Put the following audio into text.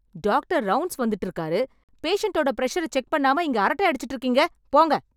Doctor rounds வந்துட்டு இருக்காரு.... பேஷண்ட்டோட ப்ரஷர செக் பண்ணாம இங்க அரட்ட அடிச்சுட்டு இருக்கீங்க. போங்க.